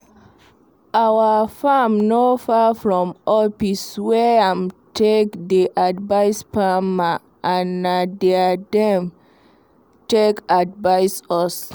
our farm no far from office where em take dey advice farmers and nah there dem take advise us